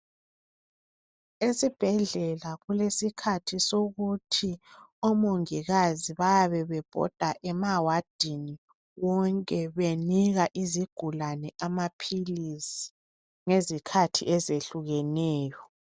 Esibhedlela kulesikhathi sokuthi omongikazi bayabe bebhoda emawadini wonke benika izigulane amaphilisi ngezikhathi ezehlukeneyo.